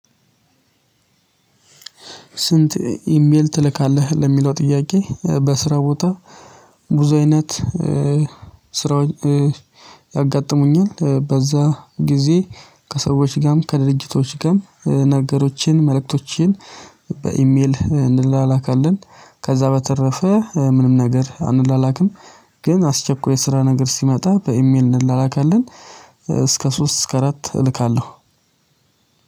ስንት ኢሜል ትልካለህ ለሚለው ጥያቄ? በስራ ቦታ ብዙ አይነት ስራውን ያጋጥሙኛል በዛ ጊዜ ከሰዎች ጋርም ከድርጅቶች ጋርም ነገሮችን መልእክቶችን በኢሜል እንላካለን። ከዛ በተረፈ ምንም ነገር አንላክም። ግን አስቸኳይ ስራ ነገር ሲመጣ በኢሜል እንላላካለን። እስከ ሶስት እስከ አራት እልካለሁ።